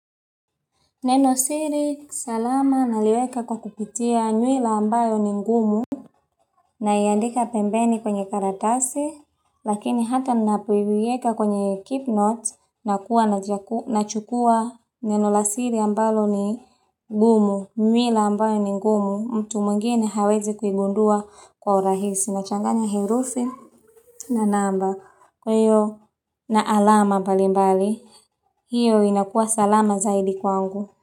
Neno siri salama naliweka kwa kupitia nywila ambayo ni ngumu na iandika pembeni kwenye karadasi lakini hata napoiweka kwenye keep note nachukua neno la siri ambalo ni ngumu nywila ambayo ni ngumu mtu mwingine hawezi kuigundua kwa urahisi nachanganya herufi na namba kwa hiyo na alama mbalimbali hiyo inakua salama zaidi kwangu.